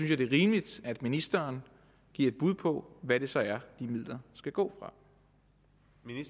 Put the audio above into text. jeg det er rimeligt at ministeren giver et bud på hvad det så er de midler skal gå